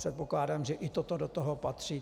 Předpokládám, že i toto do toho patří.